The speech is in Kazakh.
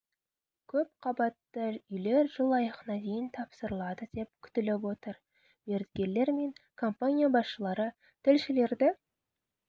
көп қабатты үйлер жыл аяғына дейін тапсырылады деп күтіліп отыр мердігерлер мен компания басшылары тілшілерді